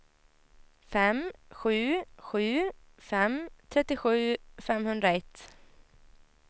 fem sju sju fem trettiosju femhundraett